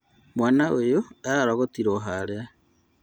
Mwana ũyũ ararogotirwo harĩa